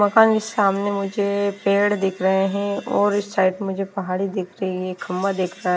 पता नहीं सामने मुझे पेड़ दिख रहे हैं और इस साइड मुझे पहाड़ी दिख रही है खम्बा दिख रहा है।